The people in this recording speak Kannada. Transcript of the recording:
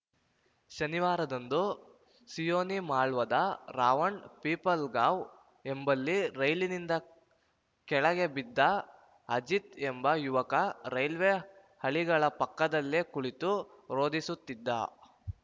ಶನಿವಾರದಂದು ಸಿಯೋನಿ ಮಾಳ್ವಾದ ರಾವಣ್‌ ಪಿಪಲ್ಗಾಂವ್‌ ಎಂಬಲ್ಲಿ ರೈಲಿನಿಂದ ಕೆಳಗೆ ಬಿದ್ದ ಅಜಿತ್‌ ಎಂಬ ಯುವಕ ರೈಲ್ವೆ ಹಳಿಗಳ ಪಕ್ಕದಲ್ಲೇ ಕುಳಿತು ರೋದಿಸುತ್ತಿದ್ದ